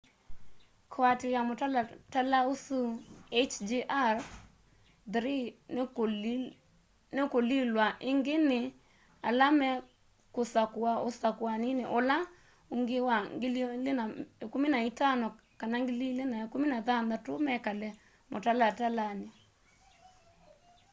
kuatiia mutalala usu hjr-3 nikulilw'a ingi ni ala mekusakua usakuani ula ungi 2015 kana 2016 mekale mutalatalani